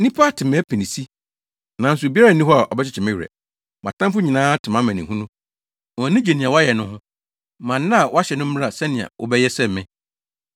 “Nnipa ate mʼapinisi, nanso obiara nni hɔ a ɔbɛkyekye me werɛ. Mʼatamfo nyinaa ate mʼamanehunu wɔn ani gye nea woayɛ no ho. Ma nna a woahyɛ no mmra sɛnea wɔbɛyɛ sɛ me.